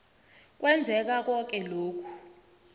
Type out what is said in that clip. kwenzeka koke lokhu